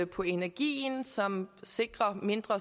på energien som sikrer mindre